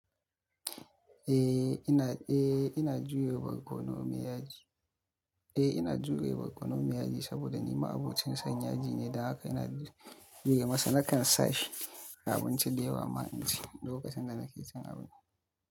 Eh ina, eh ina juye barkono miyaji. Eh ina juye barkono miyaji saboda ni ma abincin sanyaji ne, da haka ina yi masa, nakan sa shi a abincin da yi wa maha'inci lokacin da nake cin abinci.